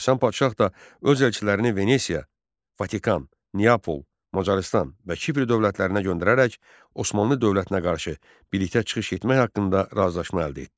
Həsən Padşah da öz elçilərini Venesiya, Vatikan, Niapol, Macarıstan və Kipr dövlətlərinə göndərərək Osmanlı dövlətinə qarşı birlikdə çıxış etmək haqqında razılaşma əldə etdi.